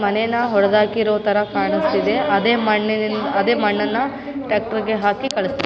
ಮನೇನ ಹೊಡದಾಕಿರೋ ತರ ಕಾಣಿಸ್ತಿದೆ ಅದೇ ಮಣ್ಣಿನಿ ಅದೆ ಮಣ್ಣನ ಟ್ಯಾಕ್ಟರ್‌ಗೆ ಹಾಕಿ ಕಳಿಸ್ತಿ --